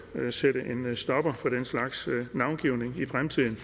sætte en stopper for den slags navngivning i fremtiden